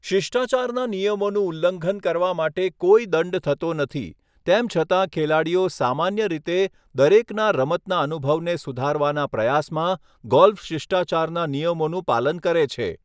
શિષ્ટાચારના નિયમોનું ઉલ્લંઘન કરવા માટે કોઈ દંડ થતો નથી, તેમ છતાં ખેલાડીઓ સામાન્ય રીતે દરેકના રમતના અનુભવને સુધારવાના પ્રયાસમાં ગોલ્ફ શિષ્ટાચારના નિયમોનું પાલન કરે છે.